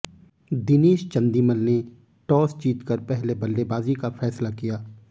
दिनेश चंदीमल ने टास जीतकर पहले बल्लेबाजी का फैसला किया